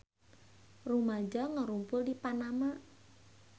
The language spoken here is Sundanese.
Rumaja ngarumpul di Panama